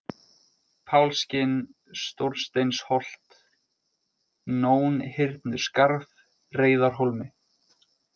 Pálskinn, Stórsteinsholt, Nónhyrnuskarð, Reyðarhólmi